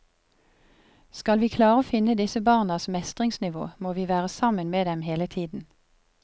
Skal vi klare å finne disse barnas mestringsnivå må vi være sammen med dem hele tiden.